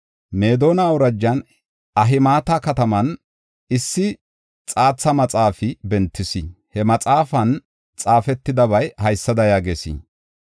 Meedona awurajan Ahimata kataman issi xaatha maxaafi bentis; he maxaafan xaafetidabay haysada yaagees: